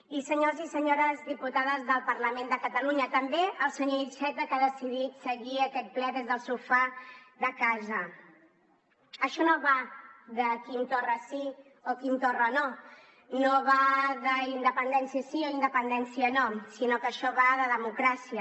i senyors i senyores diputades del parlament de catalunya també el senyor iceta que ha decidit seguir aquest ple des del sofà de casa això no va de quim torra sí o quim torra no no va d’independència sí o independència no sinó que això va de democràcia